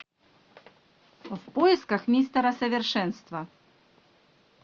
в поисках мистера совершенство